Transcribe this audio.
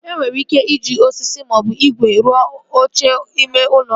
E nwere ike iji osisi maọbụ igwe rụọ oche ime ụlọ ọrụ